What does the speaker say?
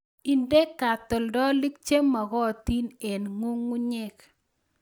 Inde katoltolik che magotin eng' ng'ung'unyek